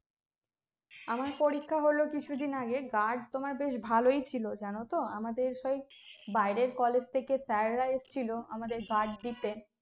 আমার পরীক্ষা হলো কিছু দিন আগে guard তোমার বেশ ভালোই ছিল জানতো আমাদের সেই বাইরের college থেকে sir রা এসেছিলো আমাদের guard দিতে